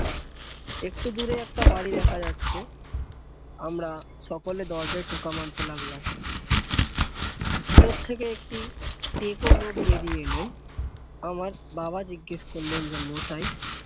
একটু দূরে একটা বাড়ি দেখা যাচ্ছে আমরা সকলে দরজায় ঠোকা মারতে লাগলাম ভেতর থেকে একটি টেকো লোক বেরিয়ে এলেন আমার বাবা জিজ্ঞেস করলেন যে মশাই